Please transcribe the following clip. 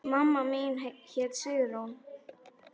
Mamma mín hét Sigrún.